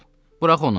Burax onu.